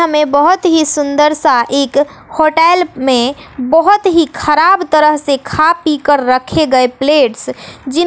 हमें बहुत ही सुंदर सा एक होटल में बहुत ही खराब तरह से खा पी कर रखे गए प्लेट्स जिन--